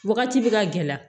Wagati bɛ ka gɛlɛya